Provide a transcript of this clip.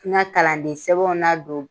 N ka kalandensɛbɛn ladon